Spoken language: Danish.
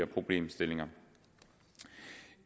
problemstillinger